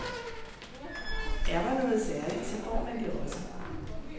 Er der noget særligt, så får man det også.